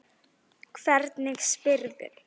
Hvernig spyrðu.